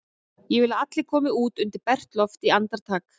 Ég vil að allir komi út undir bert loft í andartak!